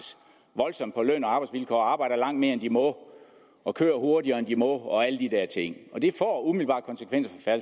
voldsomt på løn og arbejdsvilkår og arbejder langt mere end de må og kører hurtigere end de må og alle de der ting og det får umiddelbart konsekvenser